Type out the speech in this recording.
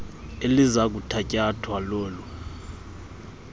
eliza kuthatyathwa lolu